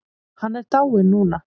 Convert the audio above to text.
Hann er dáinn núna.